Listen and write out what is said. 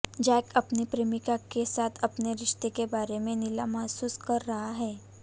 Jack अपनी प्रेमिका के साथ अपने रिश्ते के बारे में नीला महसूस कर रहा है